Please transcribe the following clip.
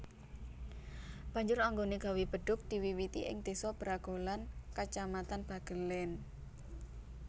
Banjur anggonè gawé bedhug diwiwiti ing désa Bragolan kacamatan Bagelén